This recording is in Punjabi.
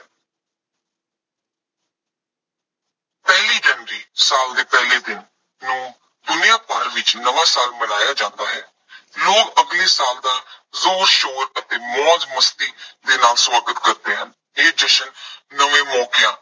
ਪਹਿਲੀ ਜਨਵਰੀ ਸਾਲ ਦੇ ਪਹਿਲੇ ਦਿਨ ਨੂੰ ਦੁਨੀਆ ਭਰ ਵਿੱਚ ਨਵਾਂ ਸਾਲ ਮਨਾਇਆ ਜਾਂਦਾ ਹੈ। ਲੋਕ ਅਗਲੇ ਸਾਲ ਦਾ ਜ਼ੋਰ ਸ਼ੋਰ ਅਤੇ ਮੌਜ ਮਸਤੀ ਦੇ ਨਾਲ ਸਵਾਗਤ ਕਰਦੇ ਹਨ। ਇਹ ਜਸ਼ਨ ਨਵੇਂ ਮੌਕਿਆਂ